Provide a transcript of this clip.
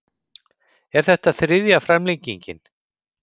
Er þetta þriðja framlengingin